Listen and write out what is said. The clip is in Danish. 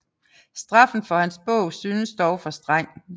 Straffen for hans bog synes dog for streng